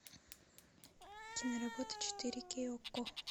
киноработы четыре кей окко